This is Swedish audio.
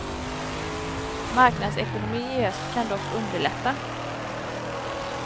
Marknadsekonomi i öst kan dock underlätta.